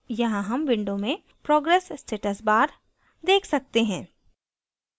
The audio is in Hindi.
यहाँ हम window में progress status bar देख सकते हैं